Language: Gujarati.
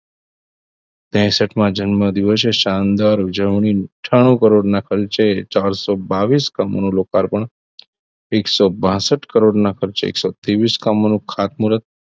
તેસઠ માં જન્મદિવસે શાનદાર ઉજવણી અથાણું કરોડના ખર્ચે ચાર સો બાવીસ કામોનું રોકાણ પણ એ સો બાસઠ કરોડના ખર્ચે તેવીસ કામોનું ખાતમુરત